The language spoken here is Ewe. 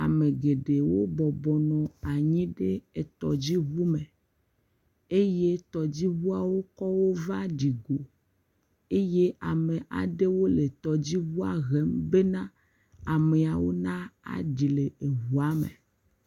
Ame geɖewo bɔbɔ nɔ anyi ɖe tɔdziʋu me eye tɔdziʋuawo kɔwo va ɖi go eye ame aɖewo le tɔdziʋua hem be na amewo na ɖi le eʋua me.